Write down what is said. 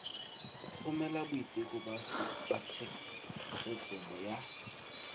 romela boiteko ba tshegetso ya